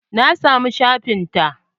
Na samu shafin ta.